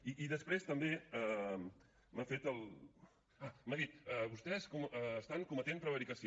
i després també m’ha dit vostès estan cometent prevaricació